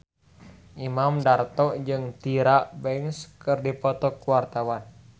Imam Darto jeung Tyra Banks keur dipoto ku wartawan